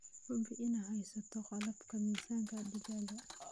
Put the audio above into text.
Hubi inaad haysato qalabka miisaanka digaaga.